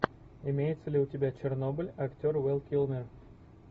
имеется ли у тебя чернобыль актер вэл килмер